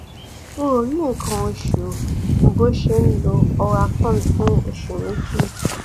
o ò rí nǹkan oṣù bó o ṣe ń lo oralcon fún oṣù méjì